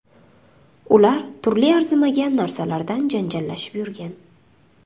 Ular turli arzimagan narsalardan janjallashib yurgan.